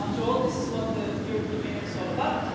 After all, this is what the European Union is all about.